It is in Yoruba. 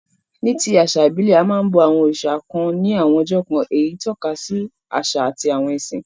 Ní ti àsà ìbílẹ̀, a máa n bo àwon òrìsà kan ni àwon ọjọ́ kan, eyí tókasi àsà àti ẹ̀sìn